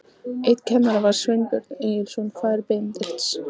Einn kennara var Sveinbjörn Egilsson, faðir Benedikts.